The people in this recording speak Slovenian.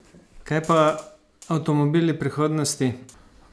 Kaj pa avtomobili prihodnosti?